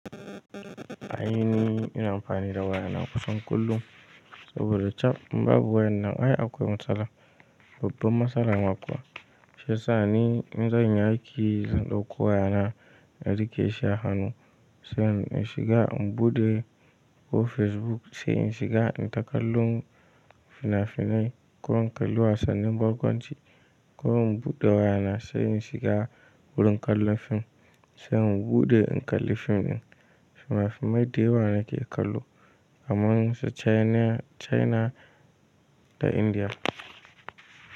Ai ni ina amfani da waya na kusan kullum saboda cab in babu wayan na ai akwai matsala. Babban matsala ma kuwa. Shiyasa ni in zanyi aiki zan dauko wayana na rike shi a hannu sai in shiga in bude ko Facebook sai in shiga in ta kallon fina-finai ko in kallo wasannin barkwanci ko in bude wayana sai in shiga wurin kallo fim sai in bude in kalli fim din. Fina-finai da yawa nake kallo kaman su China, China da India.